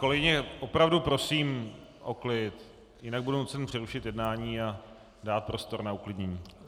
Kolegyně, opravdu prosím o klid, jinak budu muset přerušit jednání a dát prostor na uklidnění.